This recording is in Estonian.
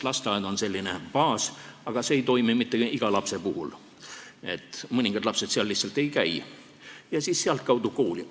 Lasteaed on selline baas – aga see ei toimi mitte iga lapse puhul, sest mõningad lapsed seal lihtsalt ei käi – ja siis sealtkaudu kooli.